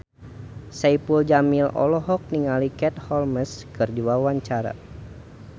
Saipul Jamil olohok ningali Katie Holmes keur diwawancara